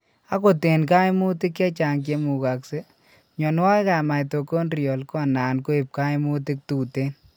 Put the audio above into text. Akot eng' kaimutik chechang' chemukaksee, mionwogik ab mitochondrial konan koib kaimutik tuten